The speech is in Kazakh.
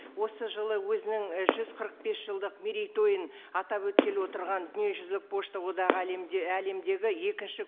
осы жылы өзінің і жүз қырық бес жылдық мерейтойын атап өткелі отырған дүниежүзілік пошта одағы әлемде әлемдегі екінші